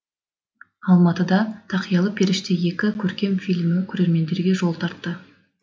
алматыда тақиялы періште екі көркем фильмі көрермендерге жол тартты